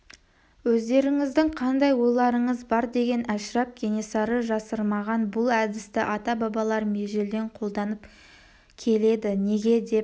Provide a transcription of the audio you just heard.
өздеріңіздің қандай ойларыңыз бар деген әшірап кенесары жасырмаған бұл әдісті ата-бабаларым ежелден қолданып келеді неге деп